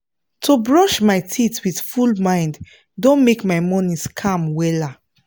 to brush my teeth with full mind don make my mornings calm wella